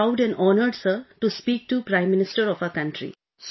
I am really proud and honored sir to speak to prime minister of our country